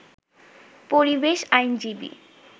পরিবেশ আইনজীবী